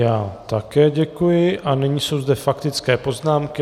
Já také děkuji a nyní jsou zde faktické poznámky.